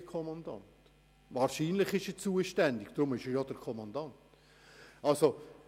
Könnte mir noch jemand erklären, was ein unzuständiger Kommandant ist?